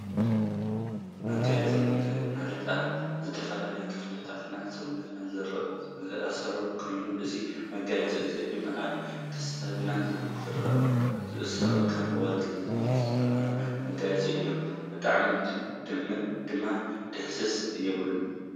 መጋየፂ፦ ማጋየፂ ማለት ኣብ ዝተፈላለዩ ክፍሊታት ሰውነትና ዝእሰር ኮይኑ እዚ መጋየፂ እዚ ድማ ኣብ ክሳድ ዝእሰር ካብ ወርቂ ዝተሰረሐ መጋየፂ እዩ ። ብጣዕሚ ድማ ደስስስ! ይብለኒ።